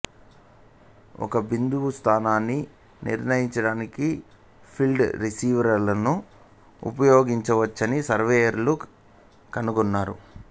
ఒక బిందువు స్థానాన్ని నిర్ణయించడానికి ఫీల్డ్ రిసీవర్లను ఉపయోగించవచ్చని సర్వేయర్లు కనుగొన్నారు